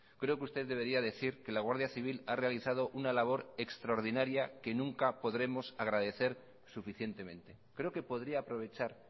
creo que usted debería decir que la guardia civil ha realizado una labor extraordinaria que nunca podremos agradecer suficientemente creo que podría aprovechar